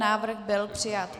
Návrh byl přijat.